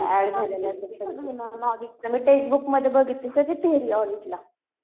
ऑडिटचं मी टेक्स्टबुकमध्ये बघितली. सगळी थेरी आहे ऑडिटला.